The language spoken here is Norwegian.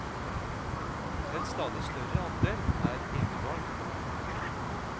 En stadig større andel er enebarn.